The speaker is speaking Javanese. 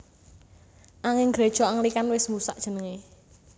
Anging Gréja Anglikan wis mbusak jenengé